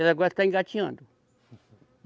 Ela agora está engatinhando.